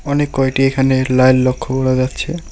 অনেক কয়টি এখানে লাইল লক্ষ্য করা যাচ্ছে।